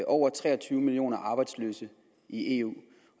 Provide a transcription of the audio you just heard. over tre og tyve millioner arbejdsløse i eu